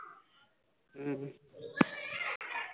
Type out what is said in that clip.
உம்